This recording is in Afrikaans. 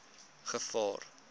gevaar